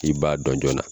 I b'a dɔn joona